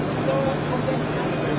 Dörd yüz doqquz min dörd yüz doqquz min.